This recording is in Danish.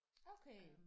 Okay